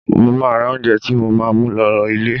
Mo máa ra oúnjẹ tí mo máa mú lọ ilẹ̀.